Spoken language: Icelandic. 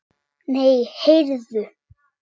Nei, heyrðu.